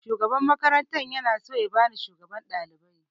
Shugaban makaranta na so ya bani shugaban ɗalibai